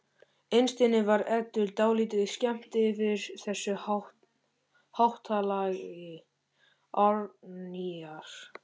Innst inni var Eddu dálítið skemmt yfir þessu háttalagi Árnýjar.